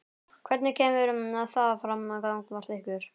Hvernig kemur það fram gagnvart ykkur?